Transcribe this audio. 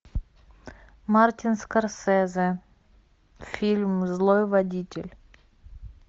мартин скорсезе фильм злой водитель